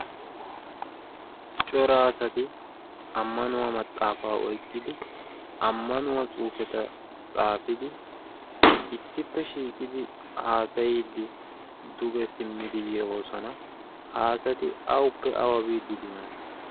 Cora asatti amanuwaa maxaafa oyqidi amanuwaa tsufetta tsaafidi issippe shiiqidi haasayiddi dugge simiddi yoosona, ha asatti awuppe awu biidi diyoona?